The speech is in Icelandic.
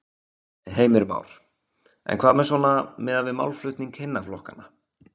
Heimir Már: En hvað með svona, miðað málflutning hinna flokkanna?